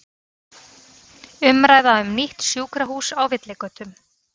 Umræða um nýtt sjúkrahús á villigötum